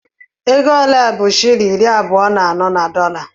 Ego ole bụ shịlịn iri abụọ na anọ na dọla?